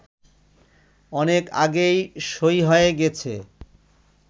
অনেক আগেই সই হয়ে গেছে